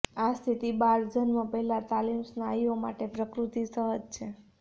આ સ્થિતિ બાળજન્મ પહેલાં તાલીમ સ્નાયુઓ માટે પ્રકૃતિ સહજ છે